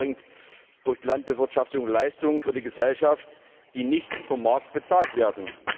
Der Landwirt erbringt durch die Landbewirtschaftung Leistungen für die Gesellschaft, die nicht vom Markt bezahlt werden.